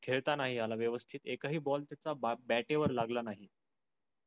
खेळता नाही आल व्यवस्तीत. एक हि ball सुद्द bat वर लागला नाही.